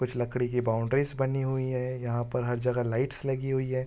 कुछ लकड़ी की बॉउंडरीस बनीं हुई है यहाँ पर हर जगह लाइट्स लगीं हुई है।